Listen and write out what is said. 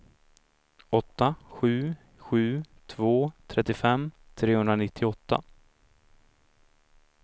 åtta sju sju två trettiofem trehundranittioåtta